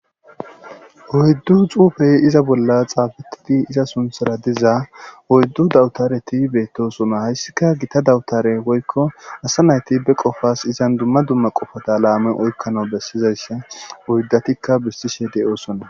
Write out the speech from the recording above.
oyddu xuufey iza bolla xaabitidi iza sunthara diza oyddu dawutareti beettosona hayssika gita dawutare woykko asa nayti be qofas izan dumma dumma qofata laame oykkano bessizayssa oyddatikka bistishe de7oosona